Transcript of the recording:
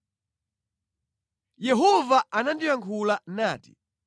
Yehova anandiyankhula nati: